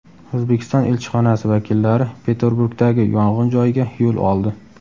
O‘zbekiston elchixonasi vakillari Peterburgdagi yong‘in joyiga yo‘l oldi.